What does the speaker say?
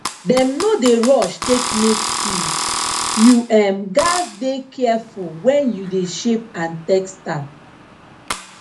dem no d rush take make tools you um gatz dey careful wen you de shape and test am